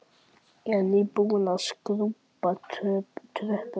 Ég er nýbúin að skrúbba tröppurnar.